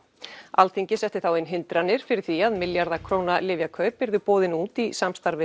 Alþingi setti þá inn hindranir fyrir því að milljarða króna lyfjakaup yrðu boðin út í samstarfi